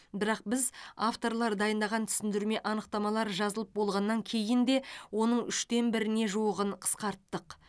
бірақ біз авторлар дайындаған түсіндірме анықтамалар жазылып болғаннан кейін де оның үштен біріне жуығын қысқарттық